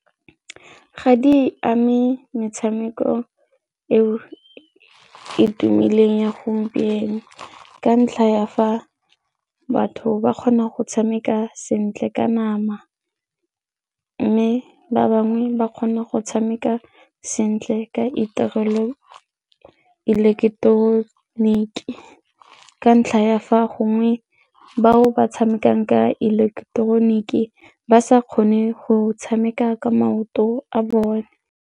Ga di ame metshameko eo e tumileng ya gompieno ka ntlha ya fa batho ba kgona go tshameka sentle ka nama mme ba bangwe ba kgona go tshameka sentle ka iterela ileketeroniki ka ntlha ya fa gongwe bao ba tshamekang ka ileketeroniki ba sa kgone go tshameka ka maoto a bone.